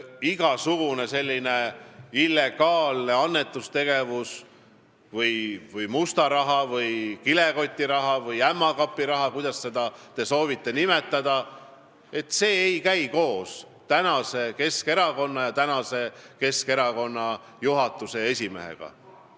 Igasugune illegaalne annetustegevus või must raha või kilekotiraha või ämmakapiraha, kuidas te soovite seda nimetada, ei käi koos tänase Keskerakonna ja tänase Keskerakonna juhatuse esimehega.